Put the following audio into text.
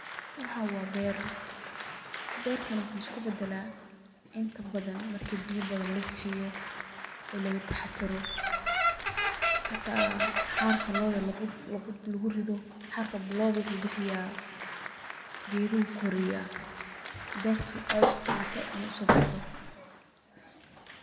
Waxan wa beer, bertana wuxu iskubadal inta badan marki biyo badan lasiyo oo lagataxadaro xita xarka lo'da lugurido oo xarka lo'da geduhu koriya iyo beerta iney harako sobaxdo.